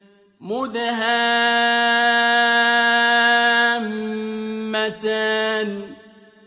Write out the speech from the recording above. مُدْهَامَّتَانِ